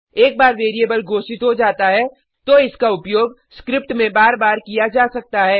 एक बार वेरिएबल घोषित हो जाता है तो इसका उपयोग स्क्रिप्ट में बार बार किया जा सकता है